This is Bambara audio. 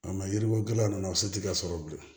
A ma yiri ko gɛlɛya ninnu a se tɛ ka sɔrɔ bilen